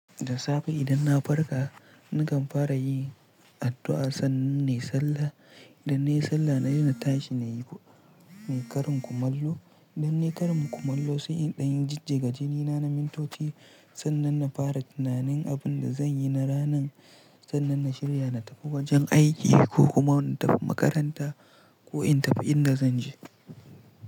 Da safe idan na farka, nakan fara yin addu'a sannan na yi sallah. Idan na yi sallah na saina tashi na yi ne karin kumallo. Idan na yi karin kumallo sai in ɗan yi jijjiga jini na na mintoci sannan na fara tunanin abin da zan yi na ranan, sannan na shirya na tafi wajen aiki ko kuma na tafi makaranta ko in tafi inda zan je.